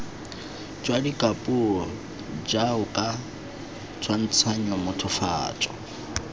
jwa dikapuo jaoka tshwantshanyo mothofatso